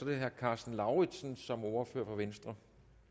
er herre karsten lauritzen som ordfører for venstre